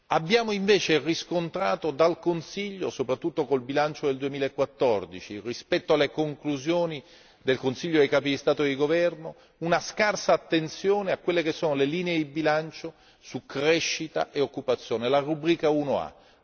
Abbiamo invece riscontrato da parte del Consiglio, soprattutto col bilancio del 2014 rispetto alle conclusioni del Consiglio dei capi di Stato e di governo, una scarsa attenzione alle linee di bilancio su crescita e occupazione la rubrica 1A.